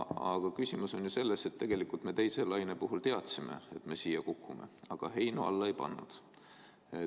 Aga asi on ju selles, et tegelikult me teise laine puhul teadsime, et me siia kukume, aga heinu alla ei pannud.